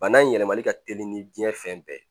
Bana in yɛlɛmali ka teli ni diɲɛ fɛn bɛɛ ye